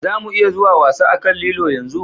Za mu iya zuwa wasa a kan lilo yanzu?